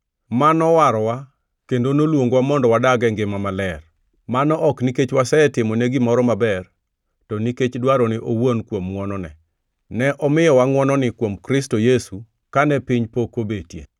ma nowarowa kendo noluongowa mondo wadag e ngima maler. Mano ok nikech wasetimone gimoro maber to nikech dwarone owuon kuom ngʼwonone. Ne omiyowa ngʼwononi kuom Kristo Yesu kane piny pok obetie,